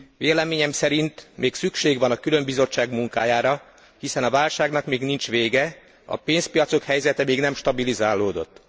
Véleményem szerint még szükség van a különbizottság munkájára, hiszen a válságnak még nincs vége, a pénzpiacok helyzete még nem stabilizálódott.